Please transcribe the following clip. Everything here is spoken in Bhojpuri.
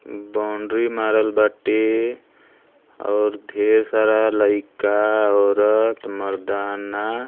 बाउंड्री मारल बाटे और ढेर सारा लइका औरत मरदाना --